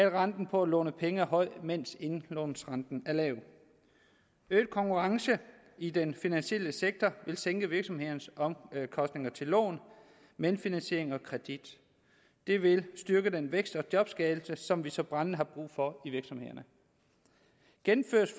at renten for at låne penge er høj mens indlånsrenten er lav øget konkurrence i den finansielle sektor vil sænke virksomhedernes omkostninger til lån medfinansiering og kredit det vil styrke den vækst og jobskabelse som vi så brændende har brug for i virksomhederne gennemføres